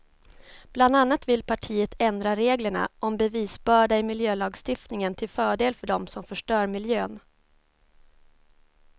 Bland annat vill partiet ändra reglerna om bevisbörda i miljölagstiftningen till fördel för dem som förstör miljön.